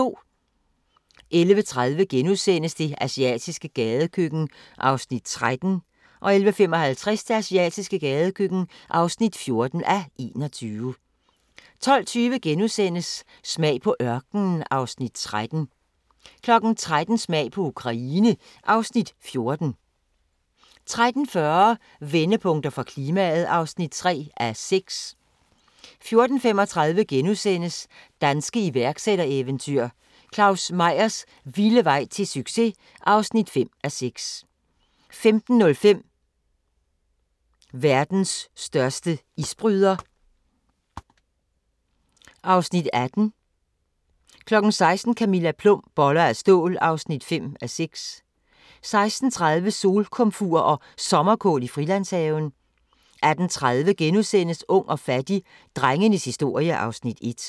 11:30: Det asiatiske gadekøkken (13:21)* 11:55: Det asiatiske gadekøkken (14:21) 12:20: Smag på ørkenen (Afs. 13)* 13:00: Smag på Ukraine (Afs. 14) 13:40: Vendepunkter for klimaet (3:6) 14:35: Danske iværksættereventyr – Claus Meyers vilde vej til succes! (5:6)* 15:05: Verdens største isbryder (Afs. 18) 16:00: Camilla Plum – Boller af stål (5:6) 16:30: Solkomfur og Sommerkål i Frilandshaven 18:30: Ung og fattig - drengenes historie (Afs. 1)*